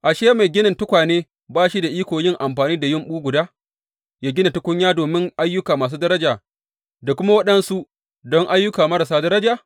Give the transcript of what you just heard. Ashe, mai ginin tukwane ba shi da iko yin amfani da yumɓu guda yă gina tukunya domin ayyuka masu daraja da kuma waɗansu don ayyuka marasa daraja?